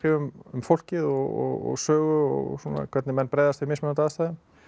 um fólkið og sögu og svona hvernig menn bregðast við mismunandi aðstæðum